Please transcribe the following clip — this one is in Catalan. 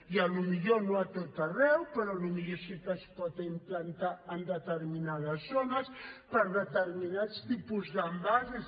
i potser no a tot arreu però potser sí que es pot implantar en determinades zones per a determinats tipus d’envasos